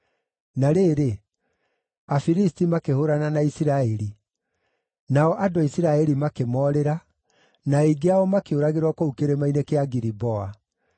Na rĩrĩ, Afilisti makĩhũũrana na Isiraeli; nao andũ a Isiraeli makĩmoorĩra, na aingĩ ao makĩũragĩrwo kũu Kĩrĩma-inĩ kĩa Giliboa.